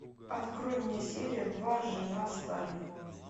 открой мне серию два жена сталина